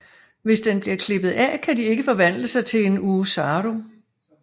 Hvis den bliver klippet af kan de ikke forvandle sig til en Oozaru